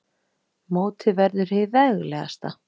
Mótið verður hið veglegasta